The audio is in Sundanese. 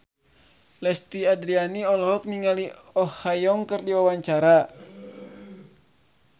Lesti Andryani olohok ningali Oh Ha Young keur diwawancara